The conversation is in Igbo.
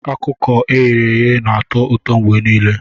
Ọkụkọ e ghere eghe na-atọ ụtọ mgbe niile